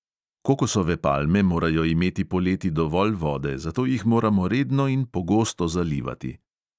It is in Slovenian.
Kokosove palme morajo imeti poleti dovolj vode, zato jih moramo redno in pogosto zalivati.